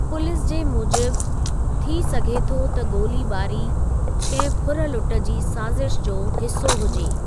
Police जे मूजिबि, थी सघे थो त गोली ॿारी कंहिं फुर लुट जी साज़िश जो हिसो हुजे।